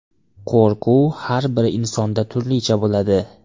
Qo‘rquv har bir insonda turlicha bo‘ladi.